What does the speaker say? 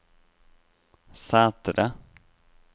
Sætre